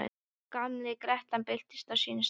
Og gamla grettan birtist á sínum stað.